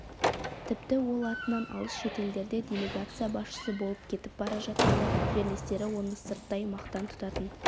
тіпті ол атынан алыс шетелдерде делегация басшысы болып кетіп бара жатқанда жерлестері оны сырттай мақтан тұтатын